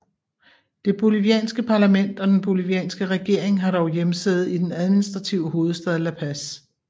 Det bolivianske parlament og den bolivianske regering har dog hjemsæde i den administrative hovedstad La Paz